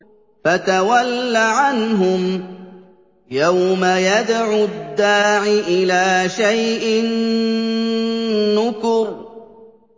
فَتَوَلَّ عَنْهُمْ ۘ يَوْمَ يَدْعُ الدَّاعِ إِلَىٰ شَيْءٍ نُّكُرٍ